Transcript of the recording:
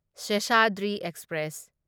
Seshadri express